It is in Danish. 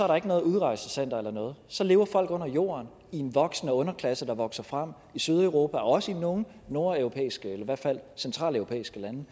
der ikke noget udrejsecenter eller noget så lever folk under jorden i en voksende underklasse der vokser frem i sydeuropa og også i nogle nordeuropæiske i hvert fald centraleuropæiske lande